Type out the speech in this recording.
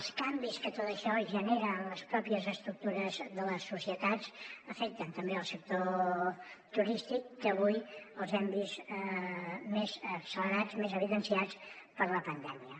els canvis que tot això genera en les pròpies estructures de les societats afecten també el sector turístic que avui els hem vist més accelerats més evidenciats per la pandèmia